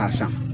A san